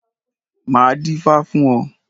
Máa dífá fún ọ.